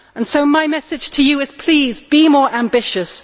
So my message to you is please, be more ambitious.